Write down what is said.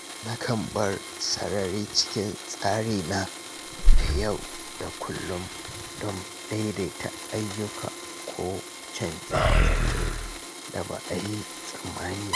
Nakan bar sarari cikin tsarina na yau da kullum domin daidaita ayyuka ko canje-canje da ba a yi tsammani ba.